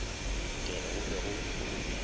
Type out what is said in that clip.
ke re go be go